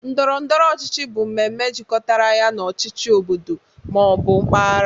Ndọrọ ndọrọ ọchịchị bụ mmemme jikọtara ya na ọchịchị obodo ma ọ bụ mpaghara